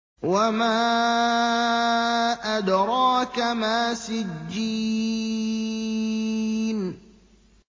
وَمَا أَدْرَاكَ مَا سِجِّينٌ